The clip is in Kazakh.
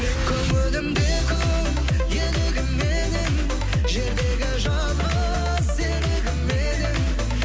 көңілімде күн елігім менің жердегі жалғыз серігім едің